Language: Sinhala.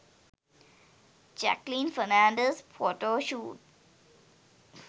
jacqueline fernandez photoshoot